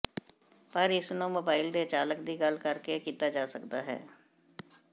ਪਰ ਇਸ ਨੂੰ ਮੋਬਾਈਲ ਦੇ ਚਾਲਕ ਦੀ ਗੱਲ ਕਰ ਕੇ ਕੀਤਾ ਜਾ ਸਕਦਾ ਹੈ